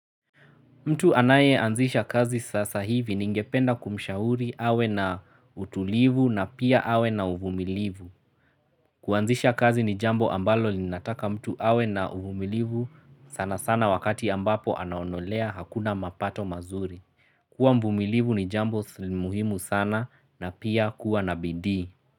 Mtu anaye anzisha kazi sasa hivi ningependa kumshahuri awe na utulivu na pia awe na uvumilivu. Kuanzisha kazi ni jambo ambalo linataka mtu awe na uvumilivu sana sana wakati ambapo anaonelea hakuna mapato mazuri. Kuwa mvumilivu ni jambo muhimu sana na pia kuwa na bidii.